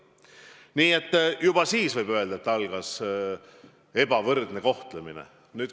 Nii et juba siis, võib öelda, algas ebavõrdne kohtlemine.